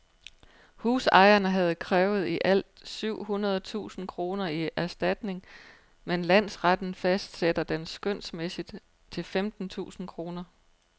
Husejeren havde krævet i alt syv hundrede tusind kroner i erstatning, men landsretten fastsætter den skønsmæssigt til femten tusind kroner.